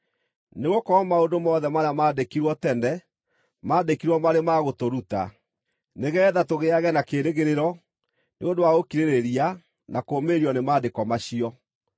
Nĩgũkorwo maũndũ mothe marĩa maandĩkirwo tene maandĩkirwo marĩ ma gũtũruta, nĩgeetha tũgĩage na kĩĩrĩgĩrĩro nĩ ũndũ wa gũkirĩrĩria na kũũmĩrĩrio nĩ Maandĩko macio.